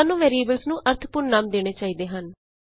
ਸਾਨੂੰ ਵੈਰੀਐਬਲਸ ਨੂੰ ਅਰਥਪੂਰਨ ਨਾਮ ਦੇਣੇ ਚਾਹੀਦੇ ਹਨ